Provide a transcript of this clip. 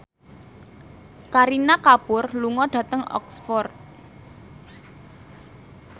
Kareena Kapoor lunga dhateng Oxford